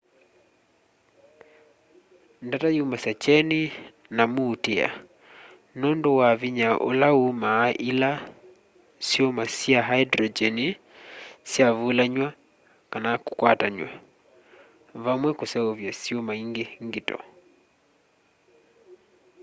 ndata syumasya kyeni na muutîa nûndû wa vinya ula umaa ila syuma sya hyndrogyeni syavulanw'a kana kukwatanw'a vamwe kuseuvya syuma îngi ngito